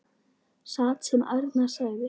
Satt sem Arnar sagði.